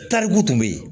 Tarikuw tun bɛ yen